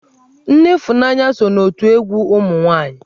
Nne Ifunanya so n'otù egwu ụmụ nwaanyi.